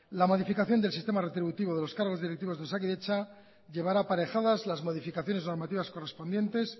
la modificación del sistema retributivo de los cargos directivos de osakidetza llevará aparejadas las modificaciones normativas correspondientes